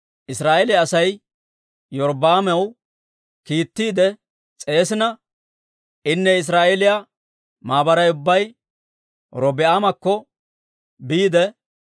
Israa'eeliyaa Asay Iyorbbaamaw kiittiide s'eesissina, inne Israa'eeliyaa maabaray ubbay Robi'aamakko biide,